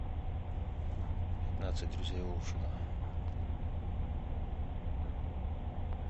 пятнадцать друзей оушена